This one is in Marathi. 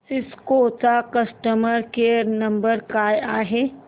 सिस्को चा कस्टमर केअर नंबर काय आहे